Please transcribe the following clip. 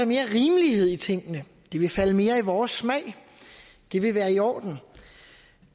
mere rimelighed i tingene det ville falde mere i vores smag det ville være i orden